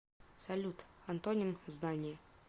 салют антоним знание